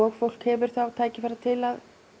fólk hefur þá tækifæri til að